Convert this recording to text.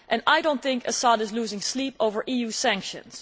I do not think Assad is losing sleep over EU sanctions.